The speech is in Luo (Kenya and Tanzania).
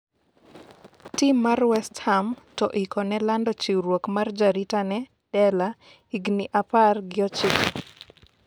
tim mar West Ham to oikone lando chiwruok mar jarit ne Dela ,higni apar gi ochiko